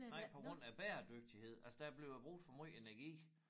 Nej på grund af bæredygtighed altså der blev jo brug for måj energi